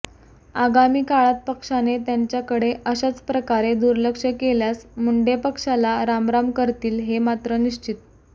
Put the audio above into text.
आगामी काळात पक्षाने त्यांच्याकडे अशाच प्रकारे दुर्लक्ष केल्यास मुंडे पक्षाला रामराम करतील हे मात्र निश्चित